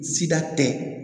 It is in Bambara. Sida tɛ